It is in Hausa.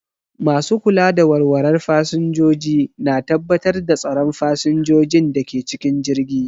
Masu kula da walwalar fasinjoji na tabbatar da tsaron fasinjojin da ke cikin jirgi.